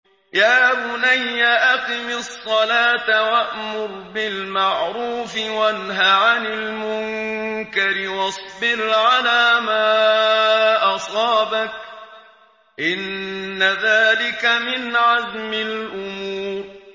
يَا بُنَيَّ أَقِمِ الصَّلَاةَ وَأْمُرْ بِالْمَعْرُوفِ وَانْهَ عَنِ الْمُنكَرِ وَاصْبِرْ عَلَىٰ مَا أَصَابَكَ ۖ إِنَّ ذَٰلِكَ مِنْ عَزْمِ الْأُمُورِ